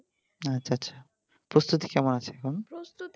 আচ্ছা আচ্ছা প্রস্তুতি কেমন আছে এখন